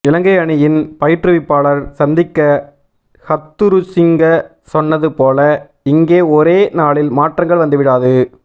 இலங்கை அணியின் பயிற்றுவிப்பாளர் சந்திக்க ஹத்துருசிங்க சொன்னது போல இங்கே ஒரே நாளில் மாற்றங்கள் வந்துவிடாது